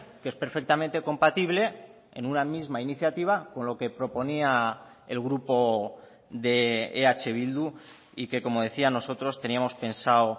que es perfectamente compatible en una misma iniciativa con lo que proponía el grupo de eh bildu y que como decía nosotros teníamos pensado